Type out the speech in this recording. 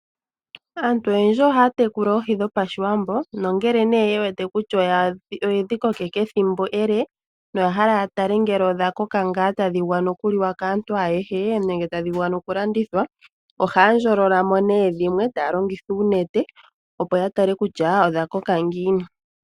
Aantu oyendji ohaya tekula oohi dho pashiwambo nongele nee yewete kutya oyedhi kokeka ethimbo ele noyahala nee yatale ngele odha koka ngaa tadhi vulu okuliwa kaantu ayehe nenge tadhi vulu okulandithwa . Ohaya ndjololamo nee dhimwe taya longitha uunete opo yatale kutya odha koka ngiini .